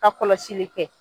Ka kɔlɔsili kɛ.